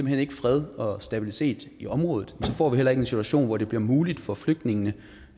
hen ikke fred og stabilitet i området så får vi heller ikke en situation hvor det bliver muligt for flygtningene